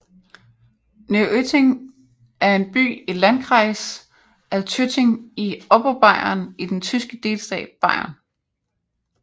Neuötting er en by i Landkreis Altötting i Oberbayern i den tyske delstat Bayern